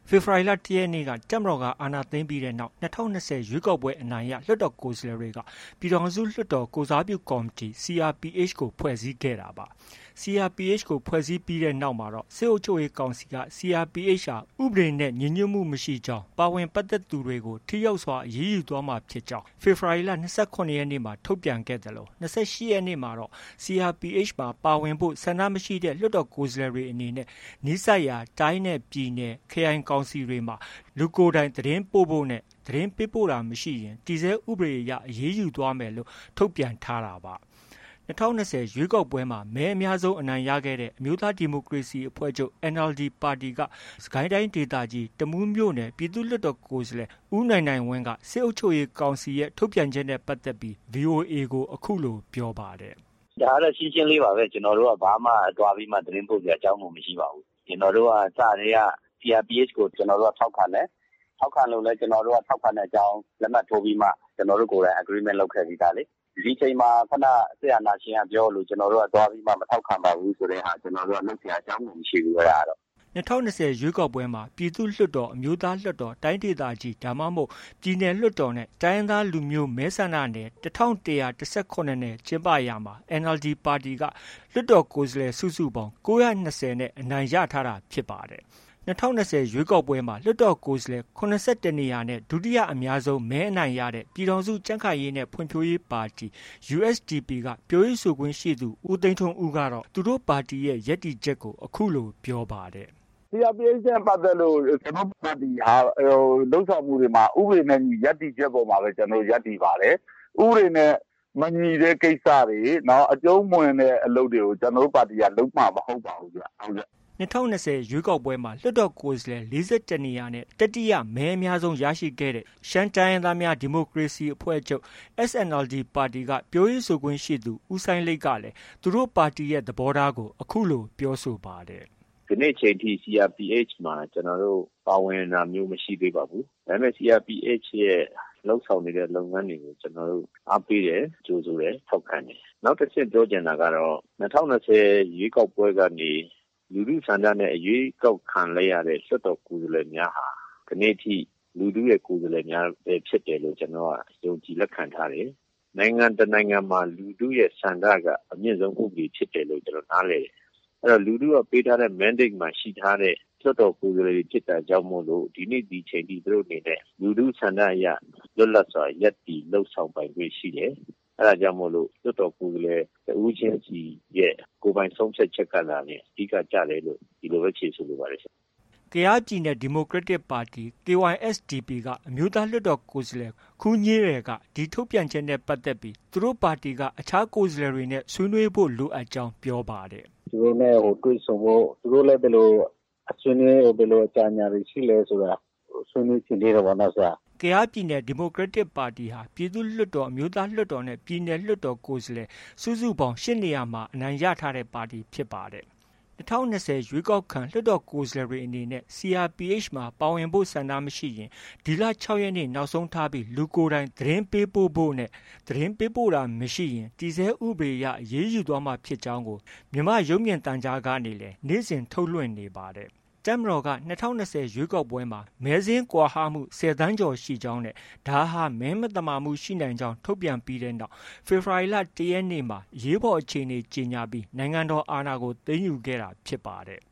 ဖေဖော်ဝါရီလ ၁ရက်နေ့က တပ်မတော်က အာဏာသိမ်းခဲ့ပြီးနောက်မှာ၂၀၂၀ ရွေးကောက်ပွဲ အနိုင်ရ လွှတ်တော်ကိုယ်စားလှယ်တွေက ပြည်ထောင်စုလွှတ်တော် ကိုယ်စားပြုကော်မတီ CRPH ကို ဖွဲ့စည်းခဲ့တာပါ။ CRPH ကို ဖွဲ့စည်းပြီးနောက်မှာတော့ စစ်အုပ်ချုပ်ရေးကောင်စီက CRPH ဟာ ဥပဒေနဲ့ ညီညွတ်ခြင်း မရှိကြောင်း၊ ပါဝင်ပတ်သက်သူတွေကို ထိရောက်စွာအရေးယူမှာဖြစ်ကြောင်း ဖေဖော်ဝါရီလ ၂၇ရက်နေ့မှာ ထုတ်ပြန်ခဲ့သလို ၂၈ရက်နေ့မှာတော့ CRPH မှာ ပါဝင်ဖို့ ဆန္ဒမရှိတဲ့ လွှတ်တော်ကိုယ်စားလှယ်တွေ အနေနဲ့ နီးစပ်ရာ တိုင်းနဲ့ပြည်နယ်၊ ခရိုင်ကောင်စီတွေမှာ လူကိုယ်တိုင် သတင်းပို့ဖို့နဲ့ သတင်းပေးပို့တာမရှိရင် တည်ဆဲဥပဒေအရ အရေးယူသွားမယ်လို့ ထုတ်ပြန်ထားတာပါ။ ၂၀၂၀ ရွေးကောက်ပွဲမှာ မဲအများဆုံး အနိုင်ရခဲ့တဲ့ အမျိုးသားဒီမိုကရေစီအဖွဲ့ချုပ် NLD ပါတီက စစ်ကိုင်းတိုင်းဒေသကြီး တမူးမြို့နယ် ပြည်သူ့လွှတ်တော်ကိုယ်စားလှယ် ဦးနိုင်နိုင်ဝင်းက စစ်အုပ်ချုပ်ရေးကောင်စီရဲ့ ထုတ်ပြန်ချက်နဲ့ပတ်သက်ပြီးVOA ကို အခုလို ပြောပါတယ်။ “ ဒါကတော့ ရှင်းရှင်းလေးပါပဲ။ ကျနော်တို့က ဘာမှ သွားပြီး သတင်းပို့စရာ အကြောင်းကို မရှိပါဘူး။ ကျနော်တို့က စကတည်းက CRPH ကို ထောက်ခံတယ်။ ထောက်ခံလို့လည်း ထောက်ခံတဲ့အကြောင်း လက်မှတ် ထိုးပြီးမှ ကျနော်တို့ ကိုယ်တိုင် agreement လုပ်ခဲ့ပြီးသားလေ။ ဒီအချိန်မှာ ခုနက စစ်အာဏာရှင်က ပြောသလို ကျနော်တို့ကသွားပြီးမှ မထောက်ခံပါဘူးဆိုတဲ့ဟာ လုပ်စရာ အကြောင်းကို မရှိဘူး။ အဲဒါကတော့။ ” ၂၀၂၀ ရွေးကောက်ပွဲမှာပြည်သူ့လွှတ်တော်၊ အမျိုးသားလွှတ်တော်၊ တိုင်းဒေသကြီး ဒါမှမဟုတ် ပြည်နယ်လွှတ်တော်နဲ့ တိုင်းရင်းသားလူမျိုး မဲဆန္ဒနယ် ၁၁၁၇နယ် ကျင်းပရာမှာ NLD ပါတီက လွှတ်တော်ကိုယ်စားလှယ် စုစုပေါင်း ၉၂၀ အနိုင်ရထားတာဖြစ်ပါတယ်။ ၂၀၂၀ ရွေးကောက်ပွဲမှာ လွှတ်တော်ကိုယ်စားလှယ်၇၁နေရာနဲ့ ဒုတိယအများဆုံး မဲအနိုင်ရတဲ့ ပြည်ထောင်စု ကြံခိုင်ရေးနဲ့ ဖွံ့ဖြိုးရေးပါတီ USDP က ပြောရေးဆိုခွင်ရှိသူ ဦး သိန်းထွန်းဦးကတော့ သူတို့ပါတီရဲ့ ရပ်တည်ချက်ကို အခုလို ပြောပါတယ်။ “ CRPH နဲ့ ပတ်သက်လို့ ကျနော်တို့ ပါတီဟာ လုပ်ဆောင်ချက်တွေမှာ ဥပဒေနဲ့အညီ ရပ်တည်ချက်ပေါ်မှာပဲ ကျနော်တို့ ရပ်တည်ပါတယ်။ ဥပဒေနဲ့ မညီတဲ့ ကိစ္စတွေ အကျုံးမဝင်တဲ့ ကိစ္စတွေကို ကျနော်တို့ ပါတီက လုပ်မှာ မဟုတ်ပါဘူးခင်ဗျ။” ၂၀၂၀ ရွေးကောက်ပွဲမှာ လွှတ်တော်ကိုယ်စားလှယ် ၄၁နေရာနဲ့ တတိယမဲအများဆုံးရခဲ့တဲ့ ရှမ်းတိုင်းရင်းသားများ ဒီမိုကရေစီအဖွဲ့ချုပ်ပါတီ SNLD က ပြောရေးဆိုခွင့်ရှိသူ ဦးစိုင်းလိတ်ကလည်း သူတို့ ပါတီရဲ့ သဘောထားကို အခုလို ပြောဆိုပါတယ်။ “ ဒီနေ့ အချိန်ထိ CRPH မှာ ကျနော်တို့ ပါဝင်တာမျိုးမရှိသေးပါဘူး။ ဒါပေမဲ့ CRPH ရဲ့ လုပ်ဆောင်နေတဲ့ လုပ်ငန်းတွေကို ကျနော်တို့ အားပေးတယ်၊ ကြိုဆိုတယ်၊ ထောက်ခံတယ်။ နောက်တစ်ဆင့်ပြောချင်တာကတော့ ၂၀၂၀ ရွေးကောက်ပွဲကနေ လူထုဆန္ဒနဲ့ ရွေးကောက်ခံရတဲ့ လွှတ်တော်ကိုယ်စားလှယ်များဟာ ဒီနေ့ထိ လူထုရဲ့ ကိုယ်စားလှယ်များပဲဖြစ်တယ်ဆိုတာ ကျနော်တို့က ယုံကြည်လက်ခံထားတယ်။ နိုင်ငံတစ်နိုင်ငံမှာ လူထုရဲ့ဆန္ဒက အမြင့်ဆုံး ဥပဒေဖြစ်တယ်လို့ ကျနော်တို့က နားလည်တယ်။ အဲတော့ လူထုက ပေးထားတဲ့ Mandate မှာ ရှိထားတဲ့ လွှတ်တော်ကိုယ်စားလှယ်တွေ ဖြစ်တာကြောင့်မို့လို ဒီနေ့ ဒီအချိန်ထိ သူတို့ အနေနဲ့ လူထုဆန္ဒအရ လွတ်လပ်စွာ ရပ်တည်လုပ်ဆောင်ပိုင်ခွင့်ရှိတယ်။ အဲဒါကြောင့်မို့ လွှတ်တော်ကိုယ်စားလှယ် တစ်ဦးချင်းစီ ကိုယ်ပိုင်ဆုံးဖြတ်ချက်ကသာလျှင် အဓိက ကျတယ်လို့ ဒီလိုပဲ ဖြေဆိုလိုပါတယ်။” ကယားပြည်နယ် ဒီမိုကရက်တစ်ပါတီ KySDP က အမျိုးသားလွှတ်တော်ကိုယ်စားလှယ် ခူးညေးရယ်က ဒီထုတ်ပြန်ချက်နဲ့ ပတ်သက်ပြီး သူတို့ပါတီက အခြားကိုယ်စားလှယ်တွေနဲ့ ဆွေးနွေးဖို့ လိုအပ်ကြောင်းပြောပါတယ်။ “ သူတို့နဲ့တွေ့ဆုံဖို့ ၊ သူတို့လည်း ဘယ်လို ဆွေးနွေး၊ ဘယ်လို အကြံဉာဏ်တွေရှိလည်းဆိုတာ ဆွေးနွေးချင် သေးတယ်ပေါ့။ ” ကယားပြည်နယ် ဒီမိုကရက်တစ်ပါတီဟာ ပြည်သူ့လွှတ်တော်၊ အမျိုးသားလွှတ်တော်နဲ့ ပြည်နယ်လွှတ်တော် ကိုယ်စားလှယ်စုစုပေါင်း ၈နေရာ အနိုင်ရထားတဲ့ပါတီဖြစ်ပါတယ်။ ၂၀၂၀ ရွေးကောက်ခံ လွှတ်တော်ကိုယ်စားလှယ်တွေအနေနဲ့ CRPH မှာ ပါဝင်ဖို့ ဆန္ဒမရှိရင် ဒီလ ၆ရက်နေ့ နောက်ဆုံးထားပြီး လူကိုယ်တိုင် သတင်းပေးပို့ဖို့ နဲ့ သတင်းပေးပို့ခြင်းမရှိရင် တည်ဆဲဥပဒေအရ အရေးယူသွားမှာဖြစ်ကြောင်းကို မြန်မာ့ရုပ်မြင်သံကြားကနေလည်း နေ့စဉ် ထုတ်လွှင့်နေပါတယ်။ တပ်မတော်က ၂၀၂၀ ရွေးကောက်ပွဲမှာမဲစာရင်းကွာဟမှု ၁၀သန်းကျော်ရှိကြောင်း နဲ့ ဒါဟာ မဲမသမာမှုရှိနိုင်ကြောင်း ထုတ်ပြန်ပြီးနောက် ဖေဖော်ဝါရီလ ၁ရက်နေ့မှာ အရေးပေါ်အခြေအနေကြေညာပြီး နိုင်ငံတော်အာဏာကို သိမ်းယူခဲ့တာဖြစ်ပါတယ်